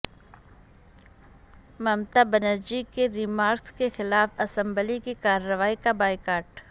ممتا بنرجی کے ریمارکس کے خلاف اسمبلی کی کاروائی کا بائیکاٹ